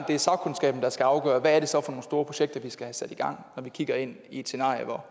det er sagkundskaben der skal afgøre hvad det så er for nogle store projekter vi skal have sat i gang når vi kigger ind i et scenarie hvor